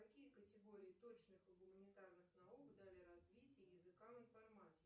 какие категории точных и гуманитарных наук дали развитие языкам информатики